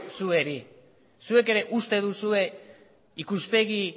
zuei zuek ere uste duzue